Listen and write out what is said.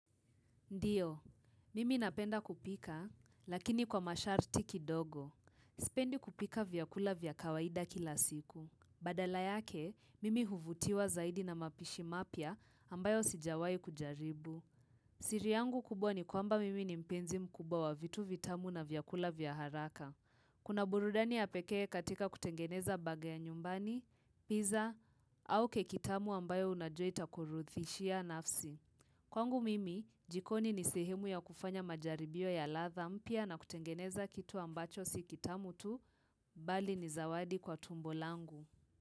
Ndio, mimi napenda kupika, lakini kwa masharti kidogo. Sipendi kupika vyakula vya kawaida kila siku. Badala yake, mimi huvutiwa zaidi na mapishi mapya ambayo sijawai kujaribu. Siri yangu kubwa ni kwamba mimi ni mpenzi mkubwa wa vitu vitamu na vyakula vya haraka. Kuna burudani ya pekee katika kutengeneza baga ya nyumbani, pizza, au keki tamu ambayo unajua itakurudhishia nafsi. Kwangu mimi, jikoni ni sehemu ya kufanya majaribio ya ladha mpya na kutengeneza kitu ambacho si kitamu tu, bali ni zawadi kwa tumbo langu.